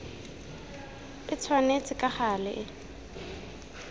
e tshwanetse ka gale e